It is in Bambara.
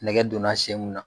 Nɛgɛ donna sen mun na